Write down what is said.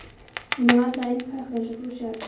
Hún er vandlega innpökkuð, eins og þú sérð.